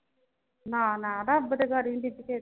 ਨਾ ਨਾ ਰੱਬ ਦੇ ਗਾੜੀ ਨੀ ਬੀਬੀ ਕਿਹੇ ਦਾ ਜੋਰ